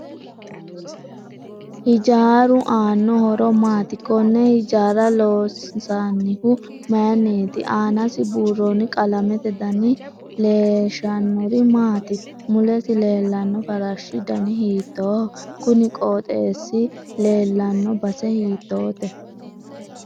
Hijaaru aano horo maati konne hijaara loonsoonihu mayiiniiti aanasi buurooni qalamete dani leeshanori maati mulesi leellanno farashu dani hiitooho kuni qooxeesi leelanno base hiitoote